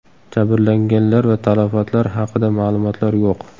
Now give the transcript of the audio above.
Jabrlanganlar va talafotlar haqida ma’lumotlar yo‘q.